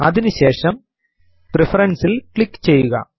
അതിനു ശേഷം പ്രഫറൻസസ് ൽ ക്ലിക്ക് ചെയ്യുക